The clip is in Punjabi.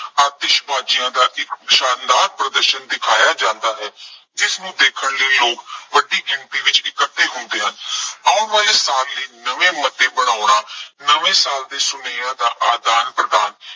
ਆਤਿਸ਼ਬਾਜ਼ੀਆਂ ਦਾ ਇੱਕ ਸ਼ਾਨਦਾਰ ਪ੍ਰਦਰਸ਼ਨ ਦਿਖਾਇਆਂ ਜਾਂਦਾ ਹੈ। ਜਿਸਨੂੰ ਦੇਖਣ ਲਈ ਲੋਕ ਵੱਡੀ ਗਿਣਤੀ ਵਿੱਚ ਇਕੱਠੇ ਹੁੰਦੇ ਹਨ। ਆਉਣ ਵਾਲੇ ਸਾਲ ਲਈ ਨਵੇਂ ਮੁੱਦੇ ਬਣਾਉਣਾ, ਨਵੇਂ ਸਾਲ ਦੇ ਸੁਨੇਹਿਆਂ ਦਾ ਆਦਾਨ ਪ੍ਰਦਾਨ